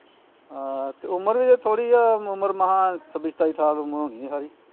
ਆਹ ਤੇ ਉਮਰ ਵੀ ਤੇ ਥੋੜੀ ਆ ਉਮਰ ਮਸਾ ਛੱਬੀ ਸਤਾਈ ਸਾਲ ਉਮਰ ਹੁਣੀ ਆ ਸਾਰੀ